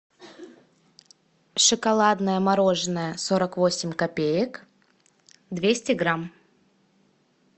шоколадное мороженое сорок восемь копеек двести грамм